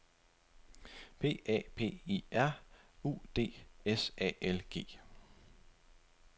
P A P I R U D S A L G